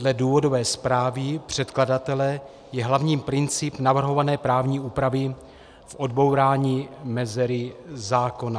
Dle důvodové zprávy předkladatele je hlavní princip navrhované právní úpravy v odbourání mezery zákona.